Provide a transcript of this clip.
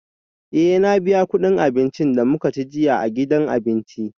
Eh na biya kudin abincin da muka ci jiya a gidan abinci